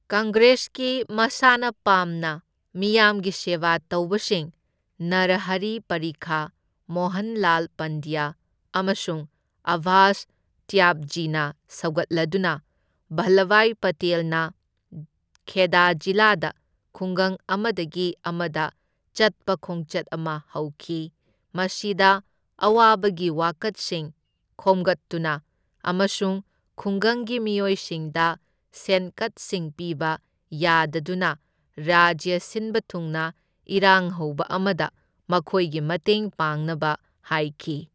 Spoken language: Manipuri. ꯀꯪꯒ꯭ꯔꯦꯁꯀꯤ ꯃꯁꯥꯅ ꯄꯥꯝꯅ ꯃꯤꯌꯥꯝꯒꯤ ꯁꯦꯕꯥ ꯇꯧꯕꯁꯤꯡ ꯅꯥꯔꯍꯔꯤ ꯄꯔꯤꯈ, ꯃꯣꯍꯟꯂꯥꯜ ꯄꯥꯟꯗ꯭ꯌ ꯑꯃꯁꯨꯡ ꯑꯕꯕꯥꯁ ꯇ꯭ꯌꯥꯕꯖꯤꯅ ꯁꯧꯒꯠꯂꯗꯨꯅ ꯚꯜꯂꯚꯚꯥꯏ ꯄꯇꯦꯜꯅ ꯈꯦꯗꯥ ꯖꯤꯂꯥꯗ ꯈꯨꯡꯒꯪ ꯑꯃꯗꯒꯤ ꯑꯃꯗ ꯆꯠꯄ ꯈꯣꯡꯆꯠ ꯑꯃ ꯍꯧꯈꯤ, ꯃꯁꯤꯗ ꯑꯋꯥꯕꯒꯤ ꯋꯥꯀꯠꯁꯤꯡ ꯈꯣꯝꯒꯠꯇꯨꯅ ꯑꯃꯁꯨꯡ ꯈꯨꯡꯒꯪꯒꯤ ꯃꯤꯑꯣꯏꯁꯤꯡꯗ ꯁꯦꯟꯀꯛꯁꯤꯡ ꯄꯤꯕ ꯌꯥꯗꯗꯨꯅ ꯔꯥꯖ꯭ꯌ ꯁꯤꯟꯕ ꯊꯨꯡꯅ ꯏꯔꯥꯡ ꯍꯧꯕ ꯑꯃꯗ ꯃꯈꯣꯏꯒꯤ ꯃꯇꯦꯡ ꯄꯥꯡꯅꯕ ꯍꯥꯏꯈꯤ꯫